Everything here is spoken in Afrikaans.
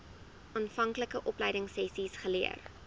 aanvanklike opleidingsessies geleer